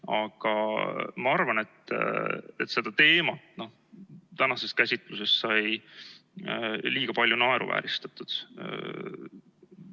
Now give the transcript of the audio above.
Aga ma arvan, et seda teemat tänases käsitluses sai liiga palju naeruvääristatud.